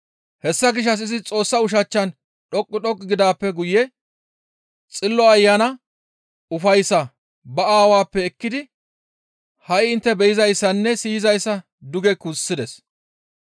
Hessa gishshas izi Xoossa ushachchan dhoqqu dhoqqu gidaappe guye Xillo Ayana ufayssaa ba aawappe ekkidi ha7i intte be7izayssanne siyizayssa duge gussides.